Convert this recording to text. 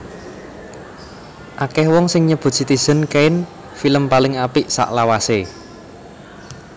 Akèh wong sing nyebut Citizen Kane film paling apik salawasé